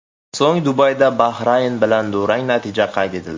So‘ng Dubayda Bahrayn bilan durang natija qayd etildi.